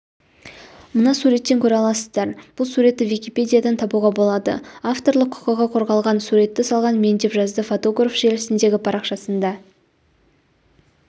мына суреттен көре аласыздар бұл суретті википедиядан табуға болады авторлық құқығы қорғалған суретті салған мен деп жаздыфотограф желісіндегі парақшасында